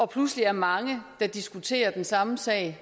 pludselig er mange der diskuterer den samme sag